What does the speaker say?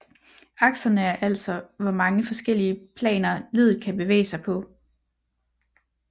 Akserne er altså hvor mange forskellige planer leddet kan bevæge sig på